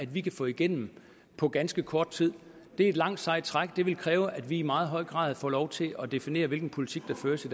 vi kan få igennem på ganske kort tid det er et langt sejt træk det vil kræve at vi i meget høj grad får lov til at definere hvilken politik der føres i